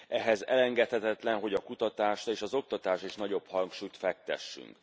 Ehhez engedhetetlen, hogy a kutatásra és az oktatásra is nagyobb hangsúlyt fektessünk.